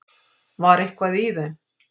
Var eitthvað í þeim?